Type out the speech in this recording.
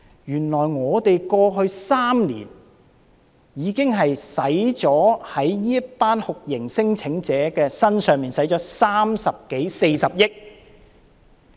原來過去3年，我們已經在這些酷刑聲請者身上花了三十多四十億元。